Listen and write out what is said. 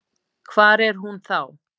Hvar er hún þá?